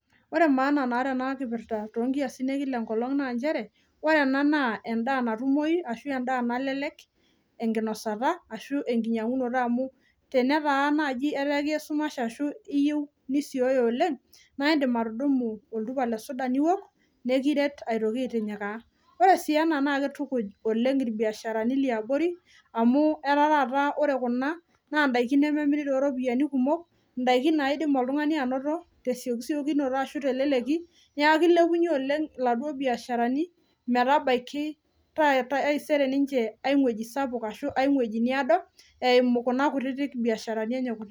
Ore maana naata ena kipirta too kiasin ekila ekolong naa nchere, ore ena naa endaa natumoyu ashu, endaa nalelek ekinosata ashu, ekinyangunoto amu, tenetaa naaji etaa ekiya esumash, ashu iyieu nisioyo oleng, naa idim atudumu oltupa lesuda niok nikiret aitoki aitinyikaa. Ore sii ena naa kitukuj oleng irbiasharani liabori amu, etaa taata ore kuna naa ndaiki nememiri too iropiyani kumok, indaiki naidim oltungani anoto tesiokinoto ashu, teleleki neaku , kilepunyie oleng iladuo biasharani metabaiki, taisere ninche ai wueji sapuk ashu, ai wueji naado eimu kuna biasharani enche kutiti.